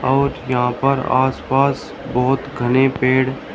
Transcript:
और यहां पर आस पास बहोत घने पेड़--